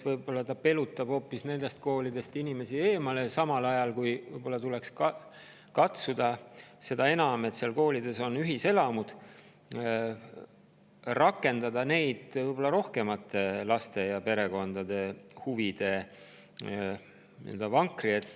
Võib-olla ta pelutab hoopis inimesi nendest koolidest eemale, samal ajal kui tuleks katsuda neid koole – seda enam, et seal koolides on ühiselamud – rakendada rohkemate laste ja perekondade huvide vankri ette, et nende võimalused tulevikus ei kärbuks veelgi.